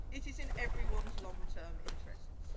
It is in everyone's long term interests.